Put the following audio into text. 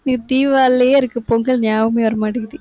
தீபாவளிலயே இருக்கு, பொங்கல் ஞாபகமே வர மாட்டேங்குது